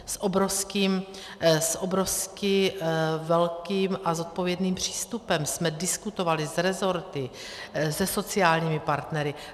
S obrovsky velkým a zodpovědným přístupem jsme diskutovali s resorty, se sociálními partnery.